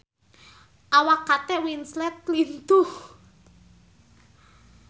Awak Kate Winslet lintuh